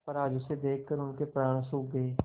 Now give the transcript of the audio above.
पर आज उसे देखकर उनके प्राण सूख गये